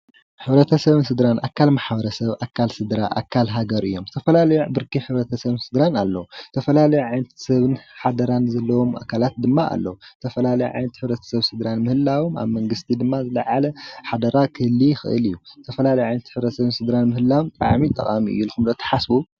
ሕብረተሰብን ስድራን ኣከል ማሕበረሰብ ኣካል ስድራ ኣካል ሃገር እዮም። ዝተፈላለዩ ብርኪ ሕብረተሰብን ስድርን ኣለው። ዝተፈላለየ ዓይነት ሰብን ሓደራን ዘለዎም ኣካለት ድማ ኣለው ዝተፈላላየ ዓይነት ሕብረትሰብን ስድራን ምህለው ኣብ መንግስቲ ድማ ዝለዓለ ሓደራ ክህሊ ይክእል እዩ። ዝተፈላለየ ዓይነት ሕብረተሰብን ስድራን ምህላው ተቃሚ እዩ ኢልኩም ዶ ትሓስቡ?